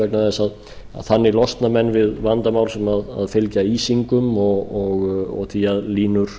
vegna þess að þannig losna menn við vandamál sem fylgja ísingum og því að línur